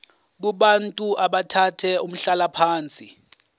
kubantu abathathe umhlalaphansi